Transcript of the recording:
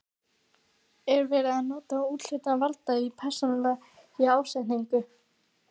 Er verið að nota úthlutað vald í persónulegum ásetningi?